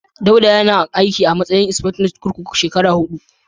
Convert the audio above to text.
Dauda yana aiki a matsayin insifectan kurkuku shekara huɗu.